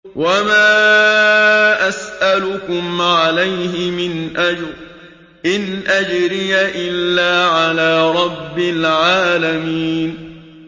وَمَا أَسْأَلُكُمْ عَلَيْهِ مِنْ أَجْرٍ ۖ إِنْ أَجْرِيَ إِلَّا عَلَىٰ رَبِّ الْعَالَمِينَ